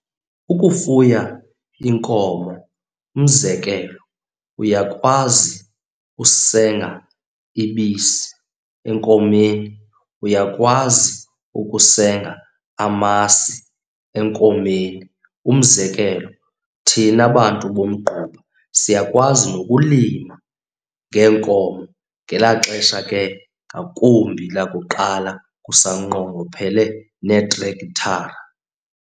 Ukufuya inkomo, umzekelo uyakwazi usenga ibisi enkomeni, uyakwazi ukusenga amasi enkomeni. Umzekelo, thina bantu bomgquba siyakwazi nokulima ngeenkomo ngelaa xesha ke ngakumbi lakuqala kusanqongophele neetrekthara.